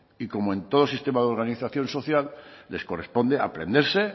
y como en todo sistema de organización social les corresponde aprenderse